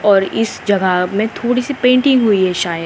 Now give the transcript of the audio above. और इस जगह में थोड़ी सी पेंटिंग हुई है शायद।